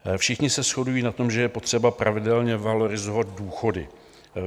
Všichni se shodují na tom, že je potřeba pravidelně valorizovat důchody.